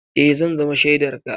Eh, za zama shaidar ka.